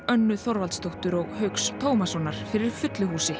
Önnu Þorvaldsdóttur og Hauks Tómassonar fyrir fullu húsi